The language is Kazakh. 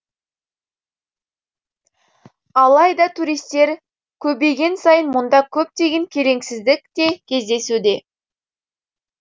алайда туристер көбейген сайын мұнда көптеген келеңсіздік те кездесуде